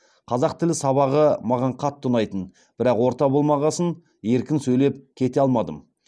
қазақ тілі сабағы маған қатты ұнайтын бірақ орта болмағасын еркін сөйлеп кете алмадым